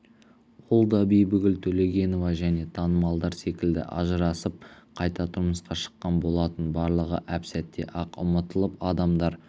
ол да бибігүл төлегенова және танымалдар секілді ажырасып қайта тұрмысқа шыққан болатын барлығы әп-сәтте-ақ ұмтылып адамдар